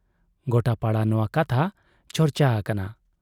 ᱜᱚᱴᱟ ᱯᱟᱲᱟ ᱱᱚᱶᱟ ᱠᱟᱛᱷᱟ ᱪᱟᱨᱪᱟ ᱟᱠᱟᱱᱟ ᱾